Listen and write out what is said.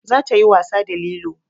Za ta yi wasa da lilo